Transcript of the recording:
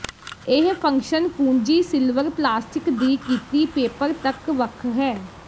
ਇਹ ਫੰਕਸ਼ਨ ਕੁੰਜੀ silver plastic ਦੀ ਕੀਤੀ ਪੇਪਰ ਤੱਕ ਵੱਖ ਹੈ